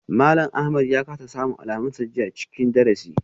Malam Ahmad ya kasa samun alamunsa jiya a cikin darasi.